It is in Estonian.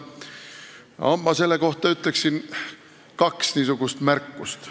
Ma teeksin selle kohta kaks märkust.